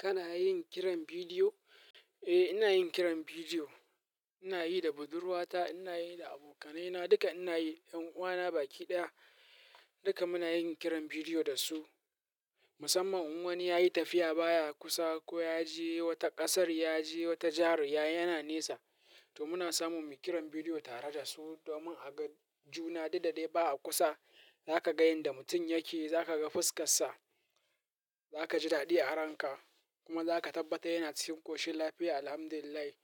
Kana yin kiran bidiyo? Eh, ina yin kiran bidiyo. Ina yi da budurwata, ina yi da abokanaina duka, ina yi da 'yan uwana baki ɗaya. Duka muna yin kiran bidiyo da su. Musamman in wani ya yi tafiya baya a kusa ko ya je wata ƙasar, ya je wata jihar, ya na nesa, to muna samu mu yi kiran bidiyo tare da su domin a ga juna duk da dai ba a kusa. Zaka ga inda mutum yake, zaka ga fuskassa, zaka ji daɗi a ranka kuma zaka tabbata yana cikin ƙoshin lafiya, alhamdulillahi.